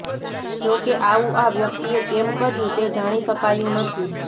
જોકે આવું આ વ્યક્તિએ કેમ કર્યું તે જાણી શકાયું નથી